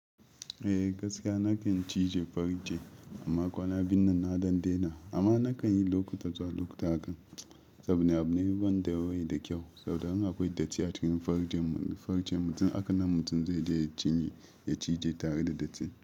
Eh gaskiya nakan cije farce amma kwana biyun nan na dan dena amma nakan yi lokuta zuwa lokuta hakan saboda ni abune wanda bai da kyau saboda in akwai datti a cikin farcen m--- farcen mutum hakanan mutum zai je ya cinye ya cije tare da datti.